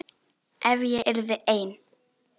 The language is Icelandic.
Ef ég yrði ein.